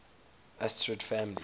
asterid families